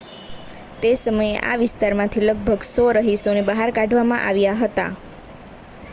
તે સમયે આ વિસ્તારમાંથી લગભગ 100 રહીશોને બહાર કાઢવામાં આવ્યા હતા